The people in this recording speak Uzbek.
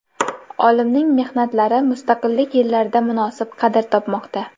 Olimning mehnatlari mustaqillik yillarida munosib qadr topmoqda.